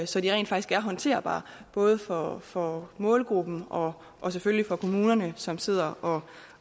så de rent faktisk er håndterbare både for for målgruppen og og selvfølgelig for kommunerne som sidder og